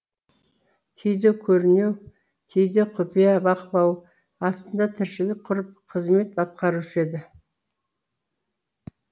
кейде көрнеу кейде құпия бақылау астында тіршілік құрып қызмет атқарушы еді